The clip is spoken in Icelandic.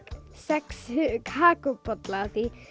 sex kakóbolla af því